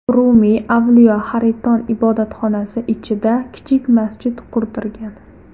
Rumiy Avliyo Hariton ibodatxonasi ichida kichik masjid qurdirgan.